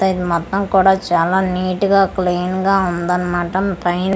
ఇది మొత్తం కూడా చాలా నీట్ గా క్లీన్ గా ఉందనమాట పై--